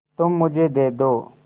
तुम मुझे दे दो